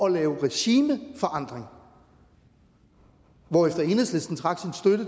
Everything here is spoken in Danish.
at lave regimeforandring hvorefter enhedslisten trak